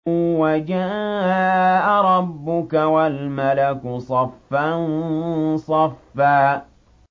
وَجَاءَ رَبُّكَ وَالْمَلَكُ صَفًّا صَفًّا